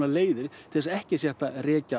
leiðir til að ekki sé hægt að rekja